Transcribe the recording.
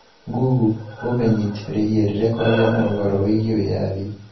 Google umenyit rĩhie rĩrĩa kwagĩa na ũhoro mwerũ wĩgiĩ wĩyathi